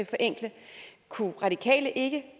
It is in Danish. forenkle kunne radikale ikke